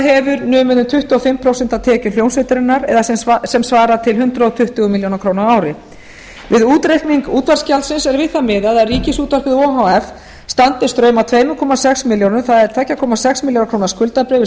hefur numið um tuttugu og fimm prósent af tekjum hljómsveitarinnar eða sem svarar til hundrað tuttugu milljónir króna á ári við útreikning útvarpsgjaldsins er við það miðað að ríkisútvarpið o h f standi straum að tvö komma sex milljónir það er tvö komma sex milljónir króna skuldabyrði